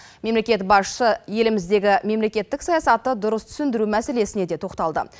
мемлекет басшысы еліміздегі мемлекеттік саясатты дұрыс түсіндіру мәселесіне де тоқталды